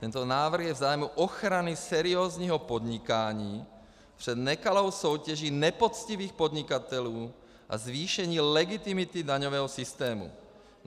Tento návrh je v zájmu ochrany seriózního podnikání před nekalou soutěží nepoctivých podnikatelů a zvýšení legitimity daňového systému.